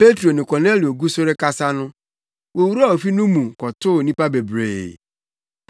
Petro ne Kornelio gu so rekasa no, wowuraa ofi no mu kɔtoo nnipa bebree.